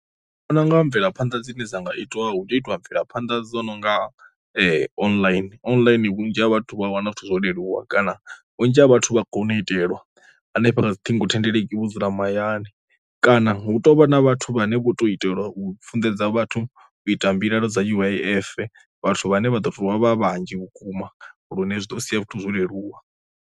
Ndi vhona u nga mvelaphanḓa dzine dza nga itwa hu tea u itiwa mvelaphanda dzo nonga online, online vhunzhi ha vhathu vha wana zwithu zwo leluwa kana vhunzhi ha vhathu vha kone u itelwa hanefha kha dzi ṱhingo thendeleki vhu vho dzula mahayani, kana hu tovha na vhathu vhane vho to itelwa u funḓedza vhathu u ita mbilaelo dza U_I_F vhathu vhane vha do to vha vhanzhi vhukuma lune zwi ḓo sia vhathu zwo leluwa.